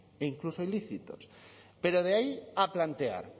e incluso ilícitos pero de ahí a plantear